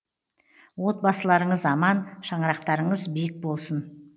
отбасыларыңыз аман шаңырақтарыңыз биік болсын